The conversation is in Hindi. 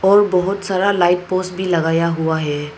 और बहोत सारा लाइट पोल्स भी लगाया हुआ है।